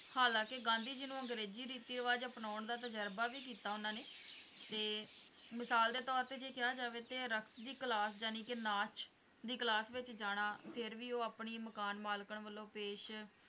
ਹਾਲਾਂਕਿ ਗਾਂਧੀ ਜੀ ਨੂੰ ਅੰਗ੍ਰੇਜ਼ੀ ਰੀਤੀ - ਰਿਵਾਜ ਅਪਣਾਉਣ ਦਾ ਤਜੁਰਬਾ ਵੀ ਕੀਤਾ ਉਹਨਾਂ ਨੇ ਤੇ ਮਿਸਾਲ ਦੇ ਤੌਰ ਤੇ ਜੇ ਕਿਹਾ ਜਾਵੇ ਤੇ ਦੀ ਕਲਾਸ ਜਾਨੇਕੀ ਨਾਚ ਦੀ ਕਲਾਸ ਵਿੱਚ ਜਾਣਾ ਫੇਰ ਵੀ ਉਹ ਆਪਣੀ ਮਕਾਨ ਮਾਲਕਨ ਵਲੋਂ ਪੇਸ਼